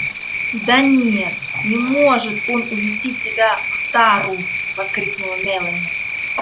да нет не может он увезти тебя в тару воскликнула мелани